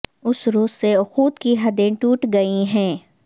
اس روز سے اخوت کی حدیں ٹوٹ گئیں ہیں